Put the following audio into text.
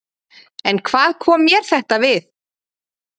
En hvað kom mér þetta við?